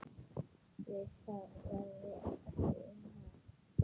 Við það verði ekki unað.